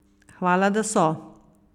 Hvala, da so!